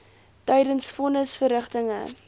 tydens von nisverrigtinge